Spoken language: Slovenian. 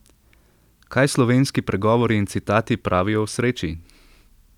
Kaj slovenski pregovori in citati pravijo o sreči?